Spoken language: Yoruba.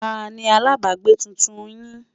tá ní alábágbé túntùn yín?